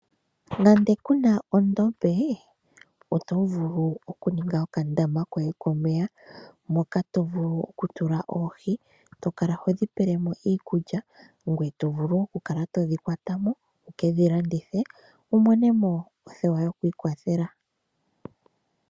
Nande ku na ondombe, oto vulu okuninga okandama koye komeya, moka to vulu ku tula oohi, to kala ho dhi pele mo iikulya, ngoye to vulu wo okukala to dhi kwata mo wu kedhi landithe, wu mone mo othewa yokwiikwathela.